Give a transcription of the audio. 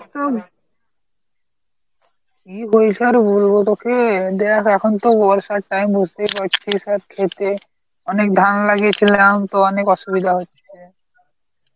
কি বলছো আর বলবো তোকে, এই দেখ এখন তো বর্ষার timeম বুঝতেই পারছিস আর ক্ষেতে অনেক ধান লাগিয়েছিলাম, তো অনেক অসুবিধা হচ্ছে